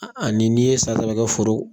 ni n'i ye san saba kɛ foro